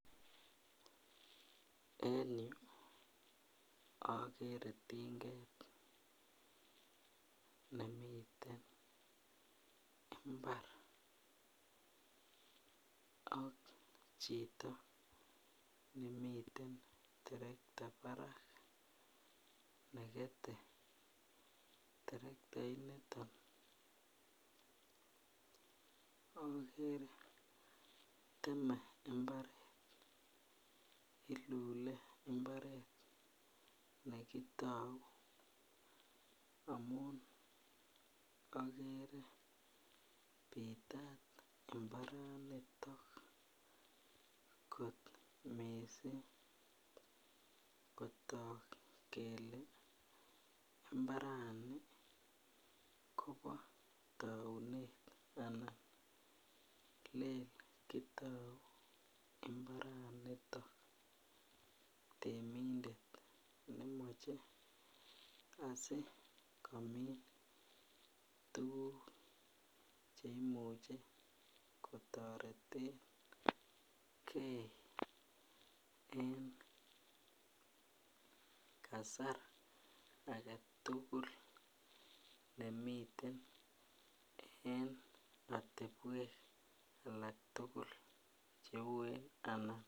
En yuu okere tinget nemiten imbar ak chito nemiten terekta barak nekete terektait niton okere teme imbaret ilule imbaret nekitou amun okere pitat imbaraniton missing kotok kele imbarani Kobo tounet anan Lele kitou imbaraniton temindet nemoche asikomin tukuk cheimuche kotoretengee en kasar agetutuk nemiten en otepwek alak tukul cheuwen anan.